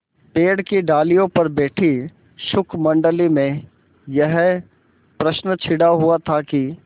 पेड़ की डालियों पर बैठी शुकमंडली में यह प्रश्न छिड़ा हुआ था कि